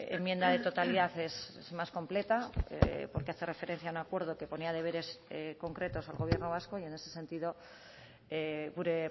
enmienda de totalidad es más completa porque hace referencia a un acuerdo que ponía deberes concretos al gobierno vasco y en ese sentido gure